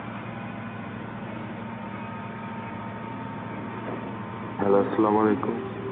Arbi